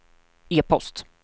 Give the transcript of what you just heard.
e-post